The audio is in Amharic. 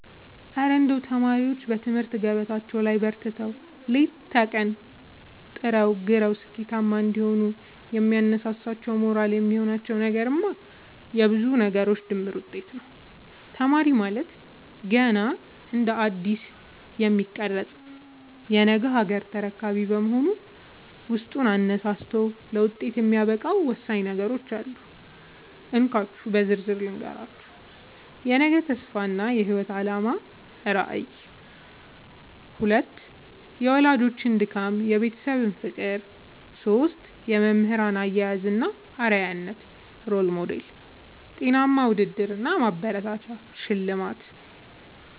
እረ እንደው ተማሪዎች በትምህርት ገበታቸው ላይ በርትተው፣ ሌት ከቀን ጥረውና ግረው ስኬታማ እንዲሆኑ የሚያነሳሳቸውና ሞራል የሚሆናቸው ነገርማ የብዙ ነገሮች ድምር ውጤት ነው! ተማሪ ማለት ገና እንደ አዲስ የሚቀረጽ የነገ ሀገር ተረካቢ በመሆኑ፣ ውስጡን አነሳስቶ ለውጤት የሚያበቃው ወሳኝ ነገሮች አሉ፤ እንካችሁ በዝርዝር ልንገራችሁ - 1. የነገ ተስፋ እና የህይወት አላማ (ራዕይ) 2. የወላጆች ድካምና የቤተሰብ ፍቅር 3. የመምህራን አያያዝ እና አርአያነት (Role Model) 4. ጤናማ ውድድር እና ማበረታቻ (ሽልማት)